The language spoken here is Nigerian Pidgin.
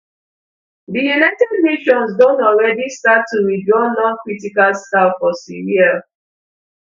di united nations don alreadi start to withdraw noncritical staff for syria